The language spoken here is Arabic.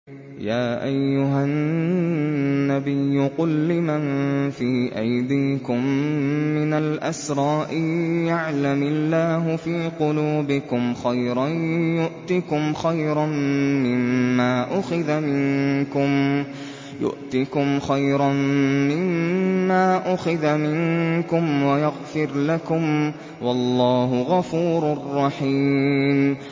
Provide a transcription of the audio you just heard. يَا أَيُّهَا النَّبِيُّ قُل لِّمَن فِي أَيْدِيكُم مِّنَ الْأَسْرَىٰ إِن يَعْلَمِ اللَّهُ فِي قُلُوبِكُمْ خَيْرًا يُؤْتِكُمْ خَيْرًا مِّمَّا أُخِذَ مِنكُمْ وَيَغْفِرْ لَكُمْ ۗ وَاللَّهُ غَفُورٌ رَّحِيمٌ